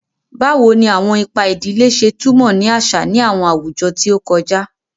Bawo ni awọn ipa idile ṣe tumọ ni aṣa ni awọn awujọ ti o kọja?